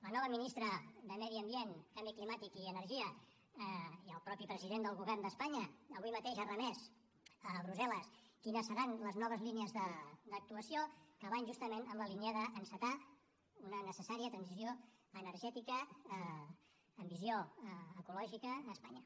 la nova ministra de medi ambient canvi climàtic i energia i el mateix president del govern d’espanya avui mateix ha remès a brussel·les quines seran les noves línies d’actuació que van justament en la línia d’encetar una necessària transició energètica amb visió ecològica a espanya